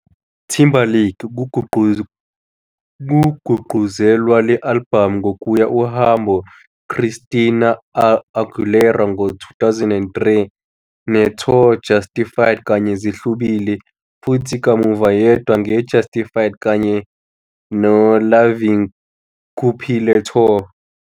Timberlake kugqugquzelwa le albhamu ngokuya uhambo Christina Aguilera ngo-2003 ne tour Justified kanye zihlubule, futhi kamuva yedwa nge Justified kanye Lovin 'Kuphile tour.